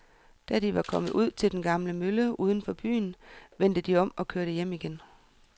Da de var kommet ud til den gamle mølle uden for byen, vendte de om og kørte hjem igen.